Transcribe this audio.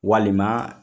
Walima